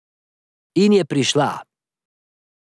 In je prišla.